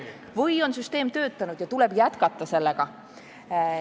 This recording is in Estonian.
Või on süsteem töötanud ja tuleb sellega jätkata.